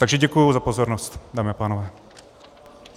Takže děkuju za pozornost, dámy a pánové.